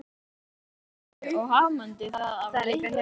Frakklandi og hamdi það af leikni.